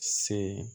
Se